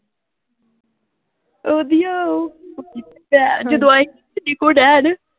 ਓਹਦੀਆਂ ਓਹ ਜਦੋਂ ਆਏ ਸੀ